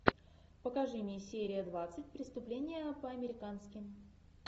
покажи мне серия двадцать преступление по американски